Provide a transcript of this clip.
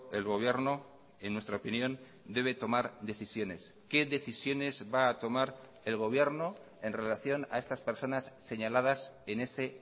el gobierno en nuestra opinión debe tomar decisiones qué decisiones va a tomar el gobierno en relación a estas personas señaladas en ese